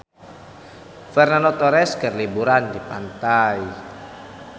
Fernando Torres keur liburan di pantai